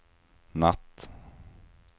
natt